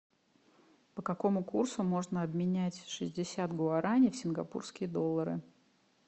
по какому курсу можно обменять шестьдесят гуараней в сингапурские доллары